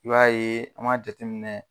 I b'a ye an ma jateminɛ